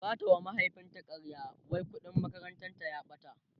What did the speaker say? zata wa mahaifin ta ƙarya wai ƙuɗin makarantar ta ta ɓata